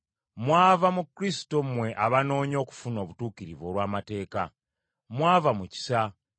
Mwava mu Kristo mmwe abanoonya okufuna obutuukirivu olw’amateeka. Mwava mu kisa.